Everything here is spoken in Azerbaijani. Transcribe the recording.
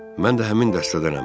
Mən də həmin dəstədənəm.